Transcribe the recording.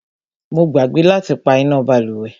Mo gbàgbé láti pá iná bálùwẹ̀.